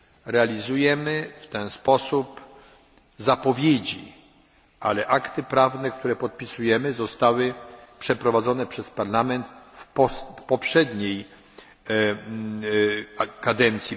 Realizujemy w ten sposób zapowiedzi, ale akty prawne, które podpisujemy, zostały przygotowane przez Parlament w poprzedniej kadencji.